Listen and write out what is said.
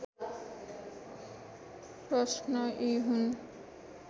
प्रश्न यी हुन्